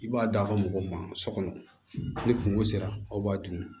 I b'a d'a ka mɔgɔw ma so kɔnɔ ni kungo sera aw b'a dun